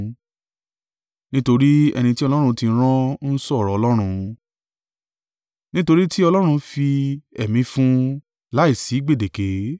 Nítorí ẹni tí Ọlọ́run ti rán ń sọ ọ̀rọ̀ Ọlọ́run: nítorí tí Ọlọ́run fi Ẹ̀mí fún un láìsí gbèdéke.